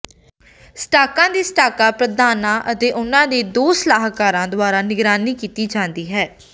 ਸਟਾਕਾਂ ਦੀ ਸਟਾਕ ਪ੍ਰਧਾਨਾਂ ਅਤੇ ਉਨ੍ਹਾਂ ਦੇ ਦੋ ਸਲਾਹਕਾਰਾਂ ਦੁਆਰਾ ਨਿਗਰਾਨੀ ਕੀਤੀ ਜਾਂਦੀ ਹੈ